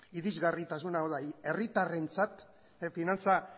irizgarritasuna hau da herritarrentzat finantza